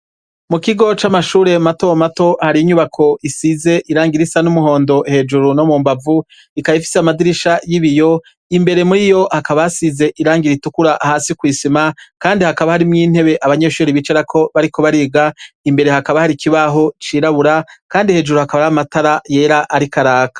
Mu kigo c'amashure matomato hari inyubako isize irangira isa n'umuhondo hejuru no mu mbavu ikayifise amadirisha y'ibiyo imbere muri yo hakabasize irangira itukura hasi kw'isima, kandi hakaba harimwo intebe abanyeshuri bicarako bariko bariga imbere hakaba hari kibaho cirabura, kandi hejuru hakaba ari amatara yera, ariko.